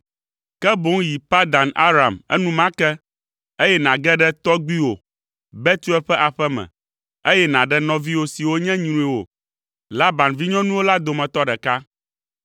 ke boŋ yi Padan Aram enumake, eye nàge ɖe tɔgbuiwò Betuel ƒe aƒe me, eye nàɖe nɔviwò siwo nye nyruiwò, Laban vinyɔnuwo la dometɔ ɖeka.